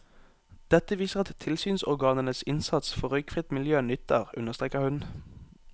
Dette viser at tilsynsorganenes innsats for røykfritt miljø nytter, understreker hun.